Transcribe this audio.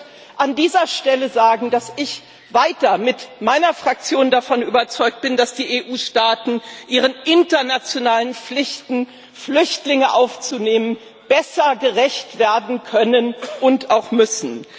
Ich möchte an dieser Stelle sagen, dass ich mit meiner Fraktion weiter davon überzeugt bin, dass die EU Staaten ihren internationalen Pflichten, Flüchtlinge aufzunehmen, besser gerecht werden können und auch müssen.